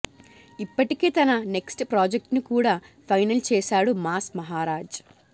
ఇప్పటికే తన నెక్ట్స్ ప్రాజెక్ట్ను కూడా ఫైనల్ చేశాడు మాస్ మహరాజ్